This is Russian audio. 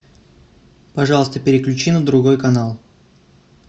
пожалуйста переключи на другой канал